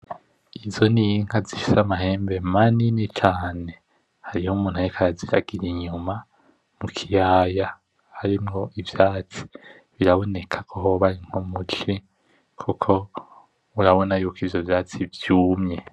Izo n'inka zifise amahembe manini cane hari umuntu ariko araziragira inyuma mukiyaya harimwo ivyatsi, biraboneka ko hoba ari nko muci koko urabona yuko ivyo vyatsi vyumye.